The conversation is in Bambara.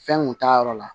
Fɛn kun t'a yɔrɔ la